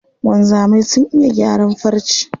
Wanzamai sun iya gyaran farce.